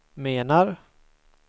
menar